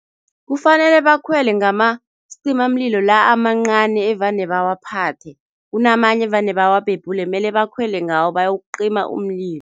Kufanele bakhwele ngamasicimamlilo la amancani evane bawaphathe. Kunamanye evane bawabhebhule, mele bakhwele ngawo bayokucima umlilo.